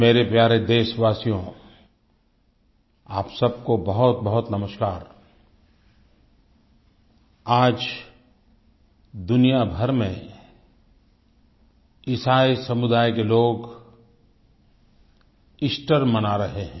मेरे प्यारे देशवासियो आप सब को बहुतबहुत नमस्कार आज दुनिया भर में ईसाई समुदाय के लोग ईस्टर मना रहे हैं